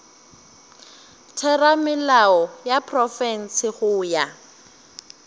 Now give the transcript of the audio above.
theramelao ya profense go ya